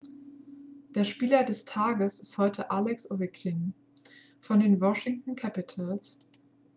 der spieler des tages ist heute alex ovechkin von den washington capitals